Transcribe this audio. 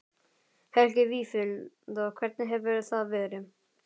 Helgi Vífill: Hvernig hefur það verið?